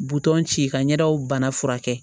Butɔn ci ka ɲɛdaw bana furakɛ